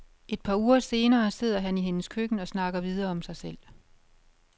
Et par uger senere sidder han i hendes køkken og snakker videre om sig selv.